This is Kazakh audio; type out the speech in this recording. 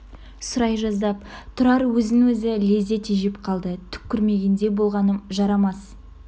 сұрай жаздап тұрар өзін өзі лезде тежеп қалды түк көрмегендей болғаным жарамас